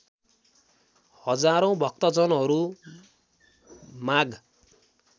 हजारौँ भक्तजनहरू माघ